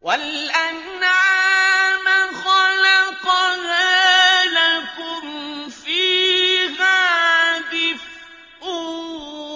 وَالْأَنْعَامَ خَلَقَهَا ۗ لَكُمْ فِيهَا دِفْءٌ